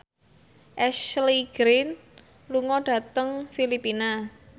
Ashley Greene lunga dhateng Filipina